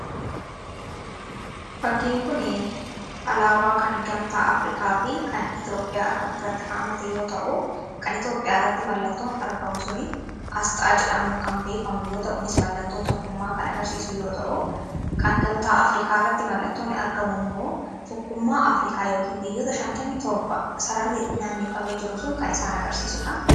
Fakkiin kun alaabaa kan gamtaa Afrikaa fi kan Itoophiyaa irratti haammatee yoo ta'u kan Itoophiyaa irratti mallattoon argamu sun asxaa jedhamuun kan beekamu yoo ta'u kunis mallattoo tokkummaa kan agarsiisu yoo ta'u kan gamtaa Afrikaa irratti mallattoon argamu immoo tokkummaa afrikaa yookiin biyyoota 57 sararri naannifamee jiru sun kan isaan agarsiisuudha.